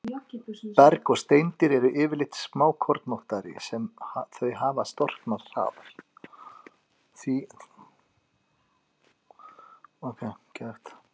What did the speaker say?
Berg og steindir eru yfirleitt því smákornóttari sem þau hafa storknað hraðar.